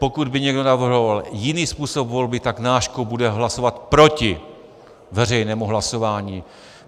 Pokud by někdo navrhoval jiný způsob volby, tak náš klub bude hlasovat proti veřejnému hlasování.